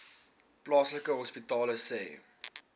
plaaslike hospitale sê